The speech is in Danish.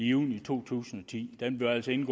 juni to tusind